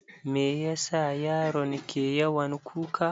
Me yasa yaron ke yawan kuka?